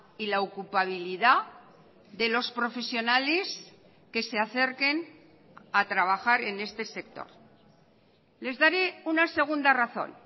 y la ocupabilidad de los profesionales que se acerquen a trabajar en este sector les daré una segunda razón